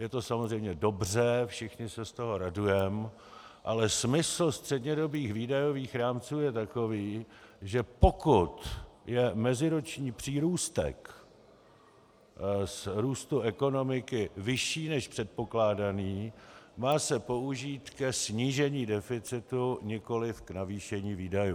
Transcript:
Je to samozřejmě dobře, všichni se z toho radujeme, ale smysl střednědobých výdajových rámců je takový, že pokud je meziroční přírůstek z růstu ekonomiky vyšší než předpokládaný, má se použít ke snížení deficitu, nikoliv k navýšení výdajů.